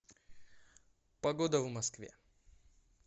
погода в москве